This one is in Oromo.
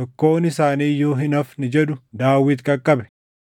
tokkoon isaanii iyyuu hin hafne” jedhu Daawit qaqqabe.